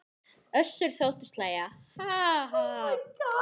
Össur þóttist hlæja: Ha ha.